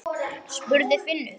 spurði Finnur.